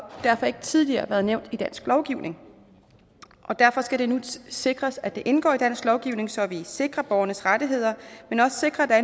derfor ikke tidligere været nævnt i dansk lovgivning derfor skal det nu sikres at det indgår i dansk lovgivning så vi sikrer borgernes rettigheder men også sikrer at der